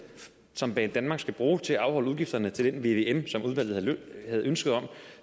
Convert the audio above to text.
som banedanmark skal bruge til at afholde udgifterne til den vvm som udvalget havde ønske om